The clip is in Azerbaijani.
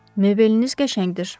Mebeliniz qəşəngdir.